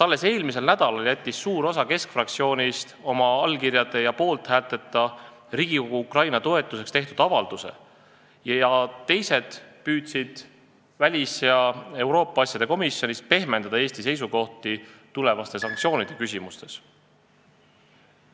Alles eelmisel nädalal jättis suur osa Keskerakonna fraktsioonist oma allkirjade ja poolthäälteta Riigikogu Ukraina toetuseks tehtud avalduse, teised aga püüdsid väliskomisjonis ja Euroopa Liidu asjade komisjonis pehmendada Eesti seisukohti tulevaste sanktsioonide küsimuses.